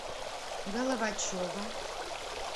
головачева